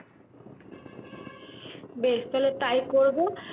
বেশ তাহলে তাই করবো